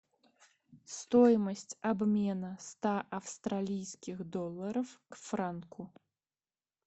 стоимость обмена ста австралийских долларов к франку